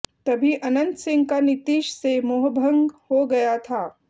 तभी अनंत सिंह का नीतीश से मोहभंग हो गया था